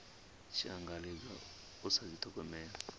tshi angaredzwa u sa dithogomela